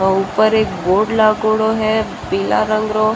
ऊपर एक बोर्ड लागेडो है पिल्लै रंग रो।